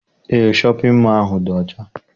Eé, shọpịn mọọ ahụ dị ọcha